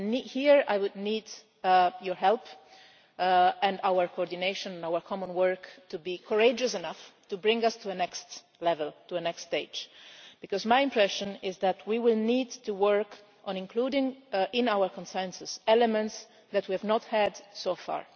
Here I will need your help and our coordination our common work to be courageous enough to bring us to the next stage, because my impression is that we will need to work on including in our Consensus elements that we have not had so far.